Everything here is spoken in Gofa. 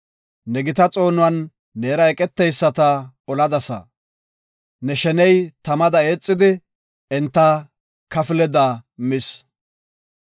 Ne gita xoonuwan, neera eqeteyisata oladasa. Ne sheney tamada eexidi, enta kafleda mis.